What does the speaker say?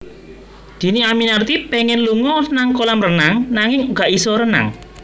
Dhini Aminarti pengen lunga nang kolam renang nanging gak iso renang